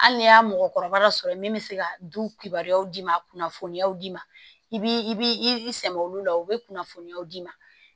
Hali n'i y'a mɔgɔkɔrɔba dɔ sɔrɔ ye min bɛ se ka du kibaruyaw d'i ma kunnafoniyaw d'i ma i b'i sɛŋɛ olu la u bɛ kunnafoniyaw d'i ma